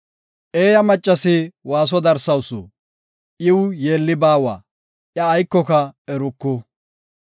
Eeyo maccasi waaso darawusu; iw yeelli baawa; iya aykoka eruku.